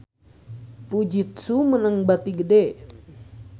Fujitsu meunang bati gede